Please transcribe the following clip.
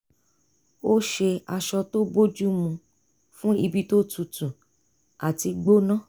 ó ṣe aṣọ tó bójú mu fún ibi tó tutu àti gbóná